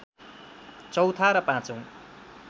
चौथा र पाँचौं